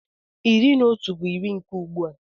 Iri na otu bụ iri nke ugbua.